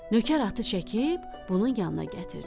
Nökər atı çəkib, bunun yanına gətirdi.